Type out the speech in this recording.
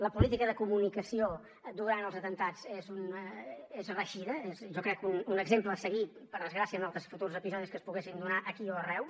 la política de comunicació durant els atemptats és reeixida és jo crec un exemple a seguir per desgràcia en altres futurs episodis que es poguessin donar aquí o arreu